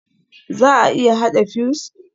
Za a iya haɗa fuse?